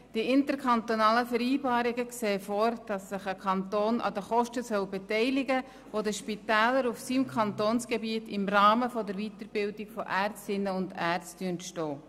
Die interkantonalen Vereinbarungen sehen vor, dass sich ein Kanton an den Kosten beteiligen soll, die den Spitälern auf seinem Kantonsgebiet im Rahmen der Weiterbildung von Ärztinnen und Ärzten entstehen.